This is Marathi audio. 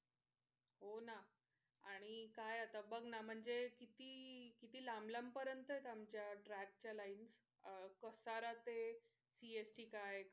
हो ना. आणि काय आत्ता बग ना म्हणजे किती किती लांब लांब परेंत आमच्या track च्या lines कसारा ते CST काय